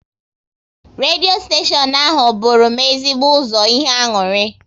Redio steshion ahụ bụru m ezigbo ụzọ ihe aṅụrị